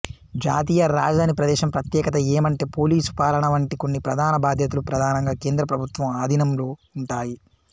జాతీయ రాజధాని ప్రదేశం ప్రత్యేకత ఏమంటే పోలీసు పాలన వంటి కొన్ని ప్రధాన బాధ్యతలు ప్రధానంగా కేంద్రప్రభుత్వం అధీనంలో ఉంటాయి